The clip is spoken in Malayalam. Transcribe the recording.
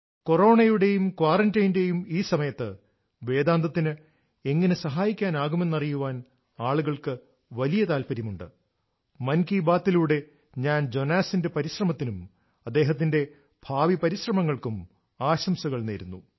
കൊറോണയുടെയും ക്വാറന്റൈന്റെയും ഈ സമയത്ത് വേദാന്തത്തിന് എങ്ങനെ സഹായിക്കാനാകുമെന്ന് അറിയാൻ ആളുകൾക്ക് വലിയ താൽപ്പര്യമുണ്ട് മൻ കി ബാത്ത് ലൂടെ ഞാൻ ജോനാസിന്റെ പരിശ്രമത്തിനും അദ്ദേഹത്തിന്റെ ഭാവി പരിശ്രമങ്ങൾക്കും ആശംസകൾ നേരുന്നു